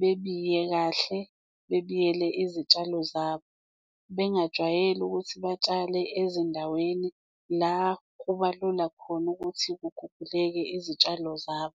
bebiye kahle bebiyele izitshalo zabo, bengajwayeli ukuthi batshale ezindaweni la kuba lula khona ukuthi kuguguleke izitshalo zabo.